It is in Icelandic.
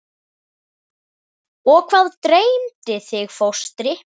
Og hvað dreymdi þig fóstri?